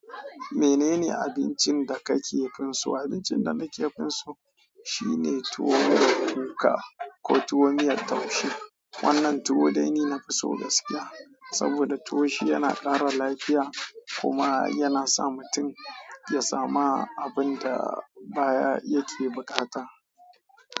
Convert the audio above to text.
Menene abincin da ka ke kan so. Abincin da na ke fin so shine tuwo da kuka ko tuwon miyar taushe. Wannan tuwo dai ni na fi so gaskiya saboda tuwo shi yana kara lafiya kuma yana sa mutum ya samu abin da baya yake buƙata.